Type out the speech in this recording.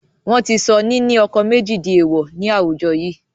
Wọn tí sọ ní ni ọkọ̀ méjì di èèwọ̀ ni àwùjọ yii